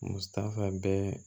Musafaa bɛɛ